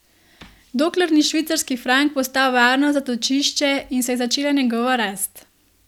Dokler ni švicarski frank postal varno zatočišče in se je začela njegova rast.